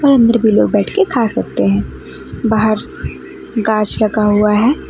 अंदर भी लोग बैठ के खा सकते हैं बाहर गाछ लगा हुआ है।